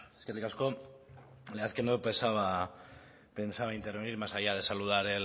eskerrik asko la verdad que no pensaba intervenir más allá de saludar